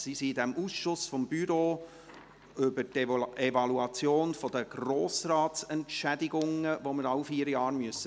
Sie sind im Ausschuss des Büros zur Evaluation der Grossratsentschädigungen, welche wir alle vier Jahre durchführen müssen.